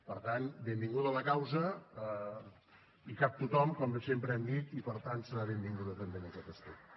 per tant benvinguda a la causa hi cap tothom com sempre hem dit i per tant serà benvinguda també en aquest aspecte